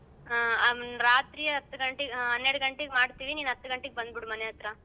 ಹ್ಮ್ ರಾತ್ರಿ ಹತ್ ಗಂಟೆಗ್ ಹ್ಮ್ ಹನ್ನೆರ್ಡ್ ಗಂಟೆಗೆ ಮಾಡ್ತೀವಿ ಹ್ಮ್ ನೀನ್ ಹತಗಂಟೆಗ್ ಬಂದ್ಬಿಡು ಮನೆ ಹತ್ರ.